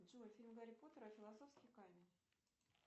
джой фильм гарри поттер и философский камень